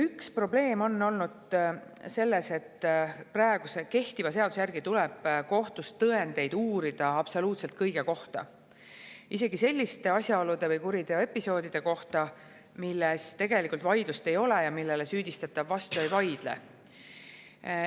Üks probleem on olnud selles, et praegu kehtiva seaduse järgi tuleb kohtus uurida tõendeid absoluutselt kõige kohta, isegi selliste asjaolude või kuriteoepisoodide kohta, milles tegelikult vaidlust ei ole ja millele süüdistatav vastu ei vaidle.